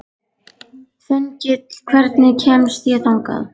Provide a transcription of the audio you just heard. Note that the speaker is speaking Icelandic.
Þengill, hvernig kemst ég þangað?